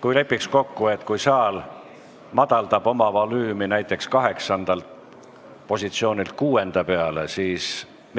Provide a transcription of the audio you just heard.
Kui lepiks kokku, et kui saal madaldab oma volüümi näiteks 8. positsioonilt 6-nda peale, siis